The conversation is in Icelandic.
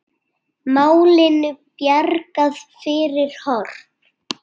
Málinu bjargað fyrir horn.